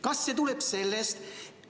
Kas see tuleb sellest, et ...